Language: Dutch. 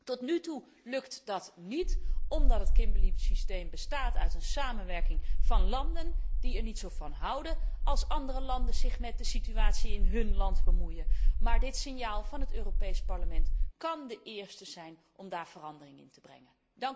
Tot nu toe lukt dat niet omdat het Kimberly systeem bestaat uit een samenwerking van landen die er niet zo van houden als andere landen zich met de situatie in hun land bemoeien, maar dit signaal van het Europees Parlement kan het eerste zijn om daar verandering in te brengen.